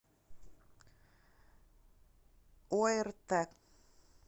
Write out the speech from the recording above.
орт